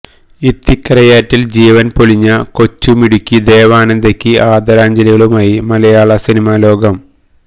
ഇത്തിക്കരയാറ്റില് ജീവന് പൊലിഞ്ഞ കൊച്ചു മിടുക്കി ദേവനന്ദയ്ക്ക് ആദരാഞ്ജലികളുമായി മലയാള സിനിമാലോകം